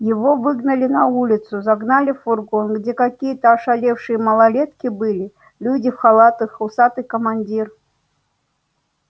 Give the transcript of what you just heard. его выгнали на улицу загнали в фургон где какие-то ошалевшие малолетки были люди в халатах усатый командир